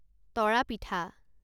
তৰা পিঠা